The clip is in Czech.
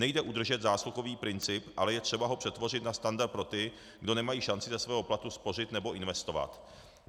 Nejde udržet zásluhový princip, ale je třeba ho přetvořit na standard pro ty, kdo nemají šanci ze svého platu spořit nebo investovat.